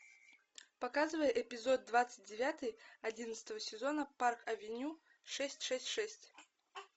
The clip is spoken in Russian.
показывай эпизод двадцать девятый одиннадцатого сезона парк авеню шесть шесть шесть